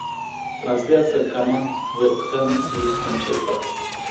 трансляция команд вест хэм и манчестер